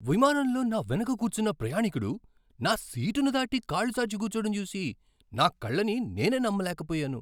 విమానంలో నా వెనుక కూర్చున్న ప్రయాణికుడు నా సీటుని దాటి కాళ్లు చాచి కూర్చోడం చూసి నా కళ్ళని నేనే నమ్మలేకపోయాను.